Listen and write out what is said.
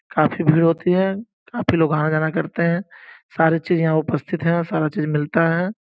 काफी भीड़ होती है काफी लोग आना जाना करते हैं सारी चीज यहां उपस्थित हैं सारा चीज मिलता है।